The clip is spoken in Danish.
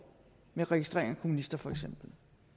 med registrering af kommunister for eksempel